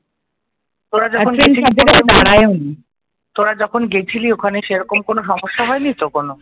তোরা যখন গেছিলি ওখানে সেরকম কোনো সমস্যা হয়নি তো কোনো?